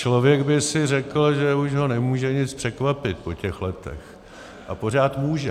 Člověk by si řekl, že už ho nemůže nic překvapit po těch letech, a pořád může.